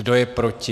Kdo je proti?